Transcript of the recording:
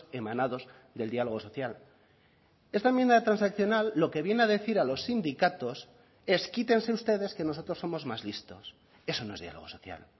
emanados del diálogo social esta enmienda transaccional lo que viene a decir a los sindicatos es quítense ustedes que nosotros somos más listos eso no es diálogo social